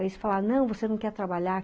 Aí eles falaram, não, você não quer trabalhar?